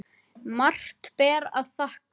Margt ber að þakka.